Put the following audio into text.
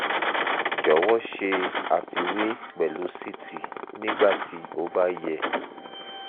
jọwọ ṣe àfiwé pẹlú ct nígbà tí ó ó bá yẹ